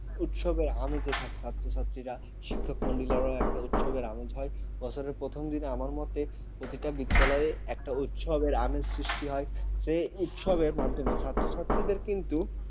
উৎসবের আমেজে দেখা যাচ্ছে ছাত্রীরা শিক্ষকমন্ডলী উৎসবের আমেজ হয়, বছরের প্রথম দিনে আমার মতে প্রতিটা বিদ্যালয়ের একটা উৎসবের আমের সৃষ্টি হয়। সে হচ্ছে মাধ্যমে ছাত্র-ছাত্রীরা কিন্তু